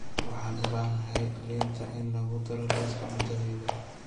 Waxaan u baahanahay liinta in lagu daro liiska cuntadayda